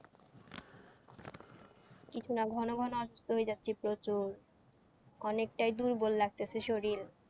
কিছু না ঘন ঘন অসুস্থ হয়ে যাচ্ছি প্রচুর, অনেকটাই দুর্বল লাগতেছে শরীর।